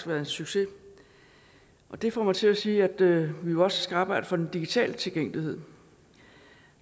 været en succes og det får mig til at sige at vi jo også skal arbejde for den digitale tilgængelighed